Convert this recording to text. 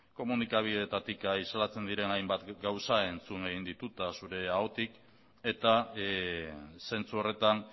komunikabideetatik islatzen diren hainbat gauza entzun egin ditut eta zure ahotik eta zentzu horretan